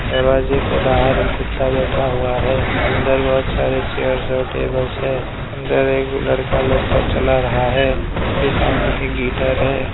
दरवाजे के बाहर एक कुत्ता बैठा हुआ है अंदर बहोत सारे चेयर्स और टेबल्स है अंदर एक लड़का लैपटॉप चला रहा है उसके सामने एक गिटर है।